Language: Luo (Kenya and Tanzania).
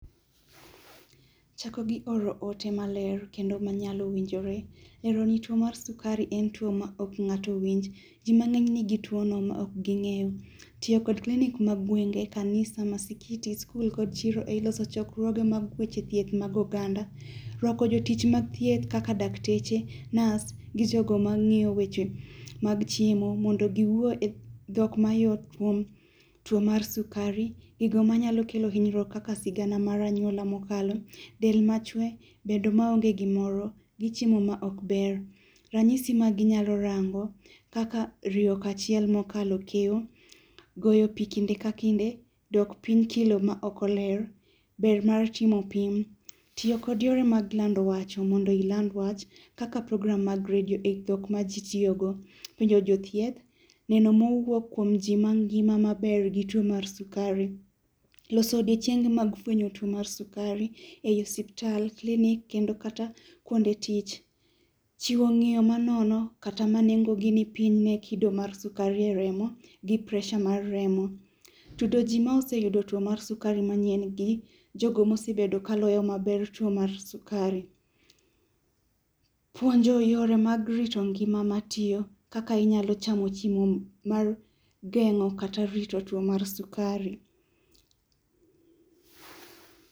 Ichako gi oro ote maler kendo ma nyalo winjore ero rito tuo sukari en tuo ma ng'ato ok winj, jii mang'eny nigi tuo no to ok gi ngeyo. Tiyo kod klinik mag gwenge, kanisa, msikiti, skul kod chiro ei loso chokruoge mag weche thieth mag oganda, rwako jotich mag thieth kaka dakteche, nurse[css] gi jogo mang'iyo weche mag chiemo mondo giwuo e dhok ma yot kuom tuo mar sukari. Gigo manyalo kelo hinyruok kaka sigana maranyuola mokalo, del machwe, bedo maonge gimoro gi chiemo ma ok ber. Ranyisi maginyalo rango kaka riyo kachiel mokalo kiewo, goyo pii kinde ka kinde, dok piny kilo ma ok oler, ber mar chimo pim, tiyo kod yore mag lando wach mondo iland wach kaka program mag redio e dhok ma jii tiyo go, penjo jothieth neno mowuok kuom jii mangima maber gi tuo mar sukari, loso odiochienge mag fwenyo tuo mar sukari ei osiptal, kilink kendo kata kuonde mag tich. Chiwo ng'iyo ma nono kaka ma nengo ni piny ne kido mar sukari e remo gi pressure mar rem, tudo jii imoseyudo tuo mar sukari mayien gi jogo mosebedo kaloyo maber tuo mar sukari. Puonjo yore mag rito ngima matiyo kaka inyalo chamo chiemo mar gengo kata rito tuo mar sukari